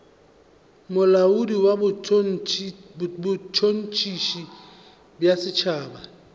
molaodi wa botšhotšhisi bja setšhaba